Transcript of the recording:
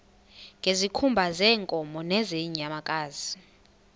ngezikhumba zeenkomo nezeenyamakazi